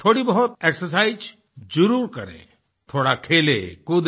थोड़ी बहुत एक्सरसाइज जरूर करें थोड़ा खेलें कूदें